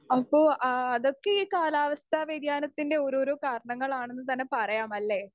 Speaker 2 അപ്പൊ ആ അതൊക്കെ ഈ കാലാവസ്ഥ വേദ്യാനത്തിന്റെ ഓരോരോ കാരണങ്ങളാണെന്ന് തന്നെ പറയാം അല്ലെ?